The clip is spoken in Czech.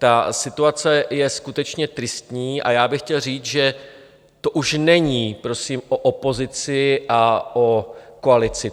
Ta situace je skutečně tristní a já bych chtěl říct, že to už není prosím o opozici a o koalici.